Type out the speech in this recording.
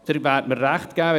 Sie werden mir recht geben: